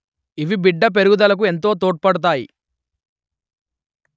ఇవి బిడ్డ పెరుగుదలకు ఎంతో తోడ్పడుతాయి